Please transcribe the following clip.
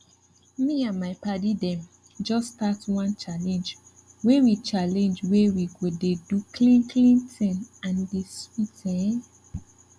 me and my padi dem just start one challenge wey we challenge wey we go dey do clean clean thing and e dey sweet ehn